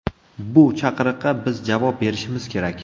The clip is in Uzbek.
Bu chaqiriqqa biz javob berishimiz kerak.